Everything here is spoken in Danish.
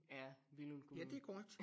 Af Billund Kommune